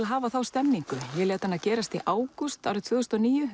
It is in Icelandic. að hafa þá stemningu ég lét hana gerast í ágúst tvö þúsund og níu